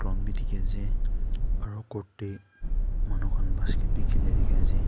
Ground bhi dekhi ase aro court tey manu khan basket bhi khila dekhi ase.